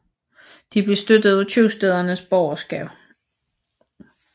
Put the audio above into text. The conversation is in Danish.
De blev støttet af købstædernes borgerskab